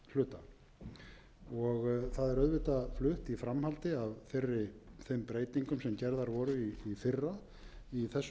hluta það er auðvitað flutt framhaldi af þeim breytingum sem gerðar voru í fyrra í þessum efnum